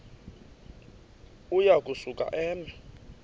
uya kusuka eme